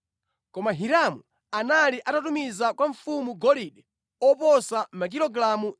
Koma Hiramu anali atatumiza kwa mfumu golide oposa makilogalamu 4,000.